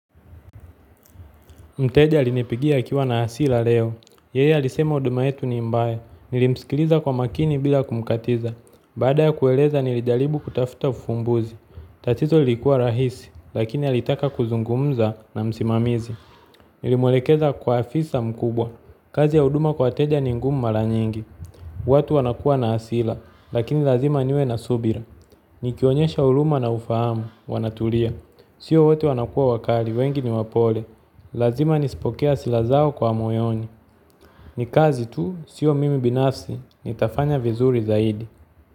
Mteja alinipigia akiwa na hasira leo. Yeye alisema huduma yetu ni mbaya. Nilimsikiliza kwa makini bila kumkatiza. Baada ya kueleza nilijalibu kutafuta ufumbuzi. Tatizo lilikua rahisi, lakini alitaka kuzungumza na msimamizi. Nilimwelekeza kwa afisa mkubwa. Kazi ya huduma kwa wateja ni ngumu mara nyingi. Watu wanakua na hasira, lakini lazima niwe na subira. Nikionyesha huruma na ufahamu, wanaturia. Sio wote wanakua wakali, wengi ni wapole. Lazima nisipokee hasila zao kwa moyoni. Ni kazi tu, sio mimi binafsi, nitafanya vizuri zaidi.